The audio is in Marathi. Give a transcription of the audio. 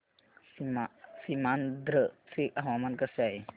सीमांध्र चे हवामान कसे आहे